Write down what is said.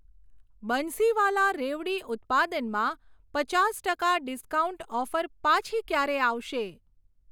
બંસીવાલા રેવડી ઉત્પાદનમાં પચાસ ટકા ડિસ્કાઉન્ટ ઓફર પાછી ક્યારે આવશે?